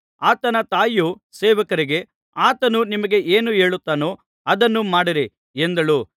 ಆತನ ತಾಯಿಯು ಸೇವಕರಿಗೆ ಆತನು ನಿಮಗೆ ಏನು ಹೇಳುತ್ತಾನೋ ಅದನ್ನು ಮಾಡಿರಿ ಎಂದಳು